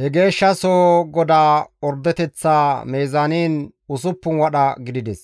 He Geeshshasoho godaa ordeteththaa mizaanin usuppun wadha gidides.